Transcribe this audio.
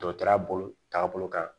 Dɔgɔtɔrɔya bolo taabolo kan